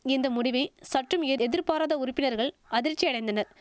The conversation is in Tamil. இந்த முடிவை சற்றும் எதிர்பாராத உறுப்பினர்கள் அதிர்ச்சியடைந்தனர்